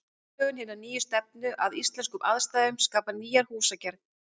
Aðlögun hinnar nýju stefnu að íslenskum aðstæðum skapaði nýja húsagerð.